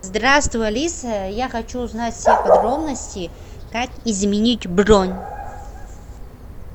здравствуй алиса я хочу узнать все подробности как изменить бронь